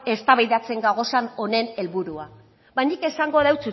eztabaidatzen gagozan honen helburua ba nik esango deutsut